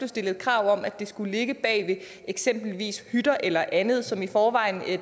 stillet krav om at de skulle ligge bag eksempelvis hytter eller andet som i forvejen